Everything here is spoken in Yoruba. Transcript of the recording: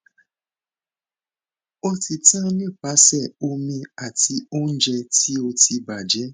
o ti tan nipasẹ omi ati ounje ti o ti baje